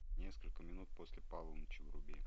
несколько минут после полуночи вруби